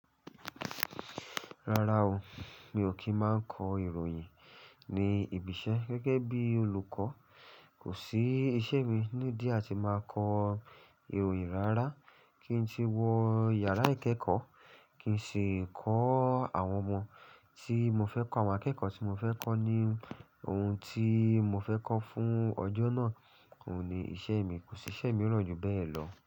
Rárá o, mi ò kí ń máa kọ ìròyìn ní ibi iṣẹ́ gẹ́gẹ́ bí olùkọ́. Kò sí iṣẹ́ mi ni díẹ̀ á ti máa kọ ìròyìn rárá kí n tí wọ yàrá ìkẹ́kọ̀ọ́ kí n sì kọ́ àwọn ọmọ tí mo fẹ́ kọ́, àwọn akẹ́kọ̀ọ́ tí mo fẹ́ kọ́ ní ohun tí mo fẹ́ kọ́ fún ọjọ́ náà. Òun ní iṣẹ́ mi, kò sí iṣẹ́ mìíràn jù bẹ́ẹ̀ lọ.